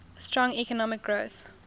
strong economic growth